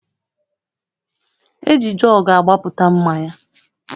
E ji jọọgụ agbapụta mmanya.